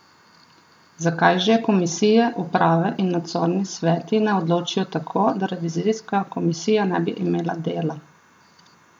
Zakaj že komisije, uprave in nadzorni sveti ne odločijo tako, da revizijska komisija ne bi imela dela?